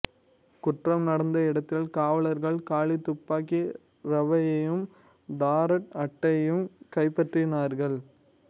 குற்றம் நடந்த இடத்தில் காவலர்கள் காலி துப்பாக்கி ரவையையும் டாரட் அட்டையும் கைப்பற்றினார்கள்